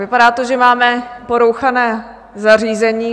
Vypadá to, že máme porouchané zařízení.